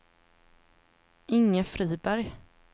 Inge Friberg